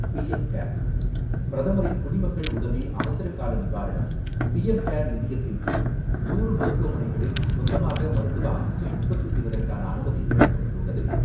PM care; பிரதமரின் குடிமக்கள் உதவி அவசரகால நிவாரணம், பிஎம் கேர் நிதியத்தின் கீழ், நூறு மருத்துவமனைகளில் சொந்தமாக மருத்துவ ஆக்சிஜன் உற்பத்தி செய்வதற்கான அனுமதி வழங்கப்பட்டுள்ளது.